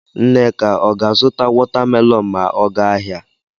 Nneka ọ ga-azụta watamelonụ ma ọ ga ahịa?